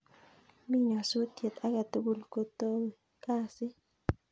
Mi nyasutiet agetugul kotowe kasit